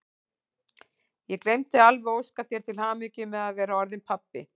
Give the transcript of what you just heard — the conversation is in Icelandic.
Ég gleymdi alveg að óska þér til hamingju með að vera orðinn pabbi!